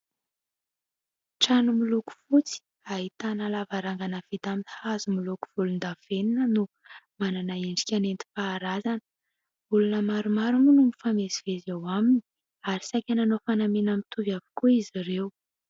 Trano miloko fotsy ahitana lavarangana vita amin'ny hazo miloko volondavenona no manana endrika nentim-paharazana, olona maromaro moa no mifamezivezy eo aminy ary saika nanao fanamiana mitovy avokoa izy ireo.